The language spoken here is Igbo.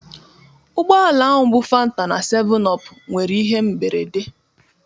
Ụgbọ ala bu fanta na 7up nwere ihe mberede